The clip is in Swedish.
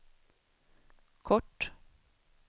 kort